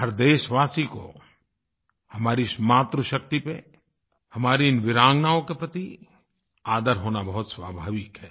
हर देशवासी को हमारी इस मातृशक्ति पर हमारी इन वीरांगनाओं के प्रति आदर होना बहुत स्वाभाविक है